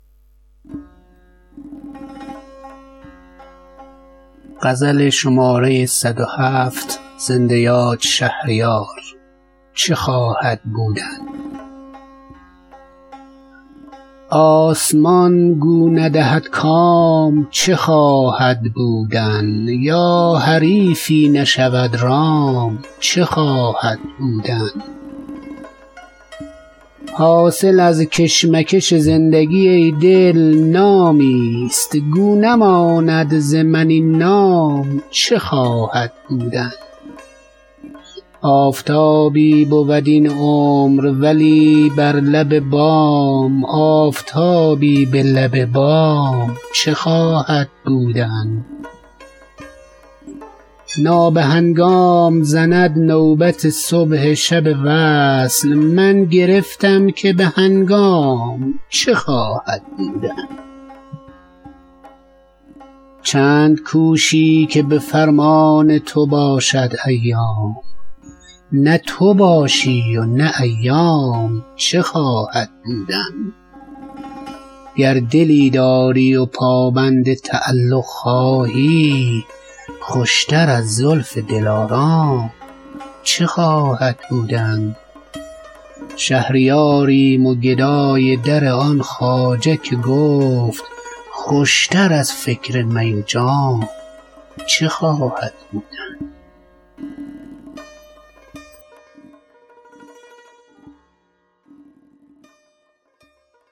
آسمان گو ندهد کام چه خواهد بودن یا حریفی نشود رام چه خواهد بودن حاصل از کشمکش زندگی ای دل نامی است گو نماند ز من این نام چه خواهد بودن آفتابی بود این عمر ولی بر لب بام آفتابی به لب بام چه خواهد بودن مرغ اگر همت آن داشت که از دانه گذشت گو همه پیچ و خم دام چه خواهد بودن نابهنگام زند نوبت صبح شب وصل من گرفتم که بهنگام چه خواهد بودن صبح اگر طالع وقتی ست غنیمت بشمار کس نخوانده ست که تا شام چه خواهد بودن چند کوشی که به فرمان تو باشد ایام نه تو باشی و نه ایام چه خواهد بودن گر دلی داری و پابند تعلق خواهی خوشتر از زلف دلارام چه خواهد بودن شرط موزونی اخلاق بود شاهد را ورنه نه موزونی اندام چه خواهد بودن بوسه نستانم از آن لب که به دشنام آلود لب آلوده به دشنام چه خواهد بودن پیر ما گفت و چه خوش گفت که از خلق مدار چشم انعام که انعام چه خواهد بودن شهریاریم و گدای در آن خواجه که گفت خوشتر از فکر می و جام چه خواهد بودن